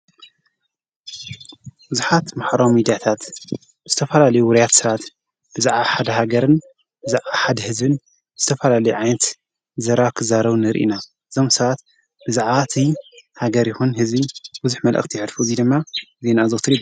ዙኃት መሕራሚ ይዲያታት ስተፋላልዩ ውሩያት ሥራት ብዛኣ ሓድ ሃገርን ብዝኣ ሓድ ሕዝብን እስተፋላል ዓይንት ዘራኽዛረው ንርኢና ዞምሰኣት ብዛኣት ሃገር ይሆን ሕዚቢ ብዙኅ መልእኽቲ ሐድፊ እዙይ ደማ ዘይ ናኣዘውትሪ።